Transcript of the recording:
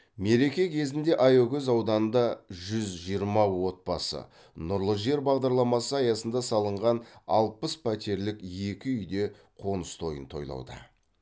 мереке кезінде аягөз ауданында жүз жиырма отбасы нұрлы жер бағдарламасы аясында салынған алпыс пәтерлік екі үйде қоныс тойын тойлауда